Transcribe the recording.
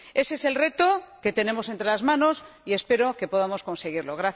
Ese es el reto que tenemos entre manos y espero que podamos conseguirlo.